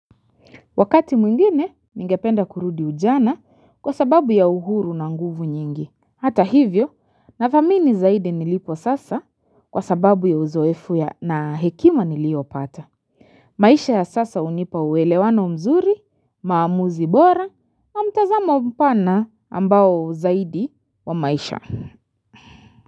Wakati mwingine ningependa kurudi ujana kwa sababu ya uhuru na nguvu nyingi. Hata hivyo, nadhamini zaidi nilipo sasa kwa sababu ya uzoefu ya na hekima nilio pata. Maisha ya sasa unipa uwelewano mzuri, maamuzi bora, mtazamo mpana ambao zaidi wa maisha.